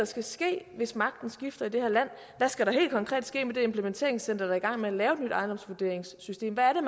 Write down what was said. skal ske hvis magten skifter i det her land hvad skal der helt konkret ske med det implementeringscenter der er i gang med at lave et nyt ejendomsvurderingssystem hvad er